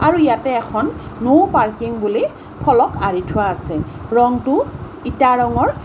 আৰু ইয়াতে এখন ন' পাৰ্কিং বুলি ফলক আঁৰি থোৱা আছে ৰংটো ইটা ৰঙৰ।